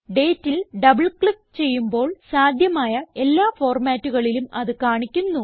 ഡേറ്റിൽ double click ചെയ്യുമ്പോൾ സാധ്യമായ എല്ലാ ഫോർമാറ്റുകളിലും അത് കാണിക്കുന്നു